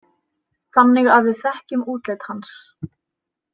Þannig að við þekkjum útlit hans.